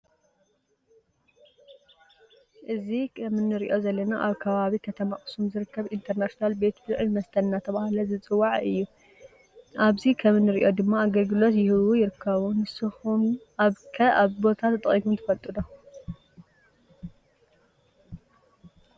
እዚ ከም እንሪኦ ዘለና አብ ከባቢ ከተማ አክሱም ዝርከብ ኢንተርናሽናል ቤት ብልዕነ መስተን እናተባህለ ዝፅዋዕ እዩ። አብዚ ከም እነሪኦ ድማ አገልግሎት እሃቡ ይርከቡ። ንስኩም ከአብዚ ቦታ ተጠቂምኩም ትፈልጡ ዶ?